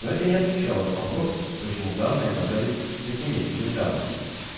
но это не отвечала на вопрос почему данные оказались шести месячной давности